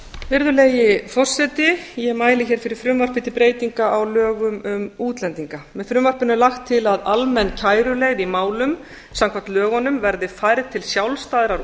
virðulegi forseti ég mæli fyrir frumvarpi til breytinga á lögum um útlendinga með frumvarpinu er lagt til að almenn kæruleið í málum samkvæmt lögunum verði færð til sjálfstæðrar